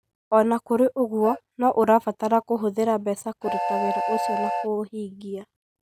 O na kũrĩ ũguo, no ũbataraga kũhũthĩra mbeca kũruta wĩra ũcio na kũũhingia.